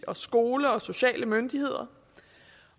skole og sociale myndigheder